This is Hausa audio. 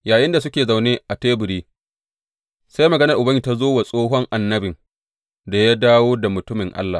Yayinda suke zaune a teburi, sai maganar Ubangiji ta zo wa tsohon annabin da ya dawo da mutumin Allah.